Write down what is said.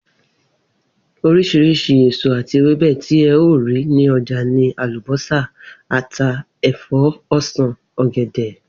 Orís̩irís̩i èso àti ewébè̩ ti e̩ óò rí ní o̩jà ni àlùbó̩sà, ata, è̩fó̩, o̩sàn, ò̩gè̩dè̩